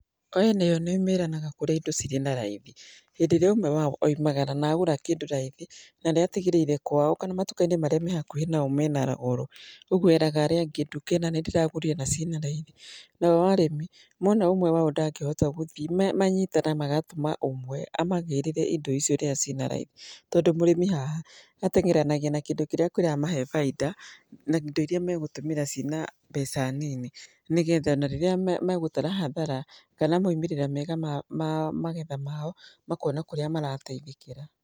Aya nao nĩo meranaga kũrĩa indo cirĩ na raithi. Hĩndĩ ĩrĩa ũmwe wao oimagara na agũra kĩndũ raithi na nĩ atigĩrĩire kwao kana matuka-iní marĩa me hakuhĩ nao mena goro, ũguo eraga arĩa angĩ nduka ĩna nĩ ndĩragũrire na ciĩ na raithi. Nao arĩmi mona ũmwe wao ndangĩhota gũthiĩ, manyitanaga magatũma ũmwe amagĩrĩre indo icio kũrĩa cina raithi. Tondũ mũrĩmi haha mateng'eranagia na kĩndũ kĩrĩa kĩramahe bainda na indo iria megũtũmĩra cĩina mbeca nini. Nĩ getha na rĩrĩa megũtara hathara kana moimĩrĩra mega mao ma magetha mao, makona kũrĩa marateithĩkĩra.